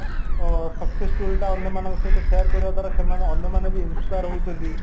ଅଂ success story ଅନ୍ୟ ମାନଙ୍କ ସହିତ share କରିବା ଦ୍ଵାରା ସେମାନେ ଅନ୍ୟ ମନେବି inspire ହଉଛନ୍ତି